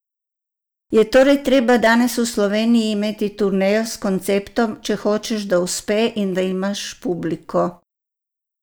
Je torej treba danes v Sloveniji imeti turnejo s konceptom, če hočeš, da uspe in da imaš publiko?